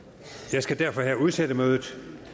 jeg skal derfor her udsætte mødet